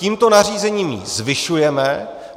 Tímto nařízením ji zvyšujeme.